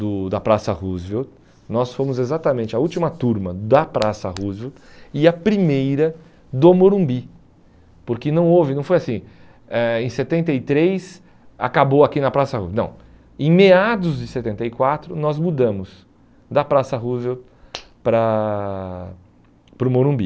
do da Praça Roosevelt, nós fomos exatamente a última turma da Praça Roosevelt e a primeira do Morumbi, porque não houve, não foi assim, eh em setenta e três acabou aqui na Praça, não, em meados de setenta e quatro nós mudamos da Praça Roosevelt para para o Morumbi.